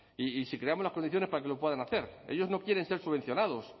y si creamos las condiciones para que lo puedan hacer ellos no quieren ser subvencionados